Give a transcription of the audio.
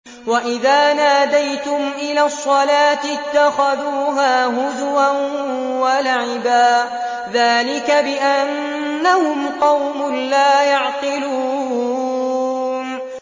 وَإِذَا نَادَيْتُمْ إِلَى الصَّلَاةِ اتَّخَذُوهَا هُزُوًا وَلَعِبًا ۚ ذَٰلِكَ بِأَنَّهُمْ قَوْمٌ لَّا يَعْقِلُونَ